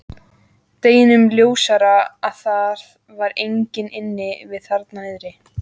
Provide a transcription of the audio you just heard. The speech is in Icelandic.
Deginum ljósara að það var enginn inni við þarna niðri.